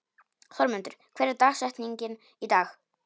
Þormundur, hver er dagsetningin í dag?